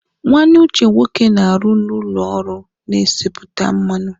Nwanne Uche nwoke na-arụ n'ụlọ ọrụ na-esipụta mmanụ.